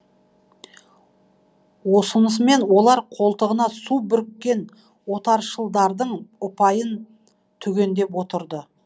осынысымен олар қолтығына су бүріккен отаршылдардың ұпайын түгендеп отырды